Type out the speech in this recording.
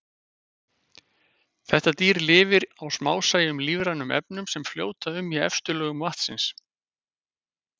Þetta dýr lifir á smásæjum lífrænum efnum sem fljóta um í efstu lögum vatnsins.